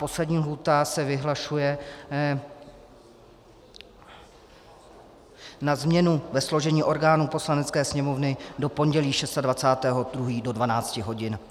Poslední lhůta se vyhlašuje na změnu ve složení orgánů Poslanecké sněmovny do pondělí 26. 2. do 12 hodin.